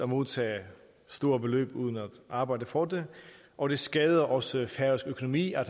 modtage store beløb uden at arbejde for det og det skader også færøsk økonomi at